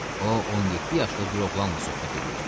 O 17 yaşlı bir oğlanla söhbət eləyirdi.